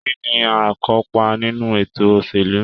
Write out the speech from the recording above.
Kínní aikopa nínú ètò òṣèlú?